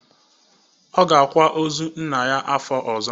Ọ ga-akwa ozu nna ya afọ ọzọ.